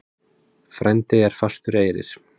Frændi er fastur eyrir.